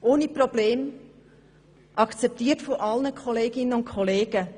Dies ohne Probleme und akzeptiert von allen Kolleginnen und Kollegen.